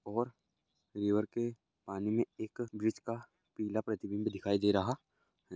और रीवर के पानी में एक ब्रिज का पीला प्रतिबिंब दिखाई दे रहा हैं।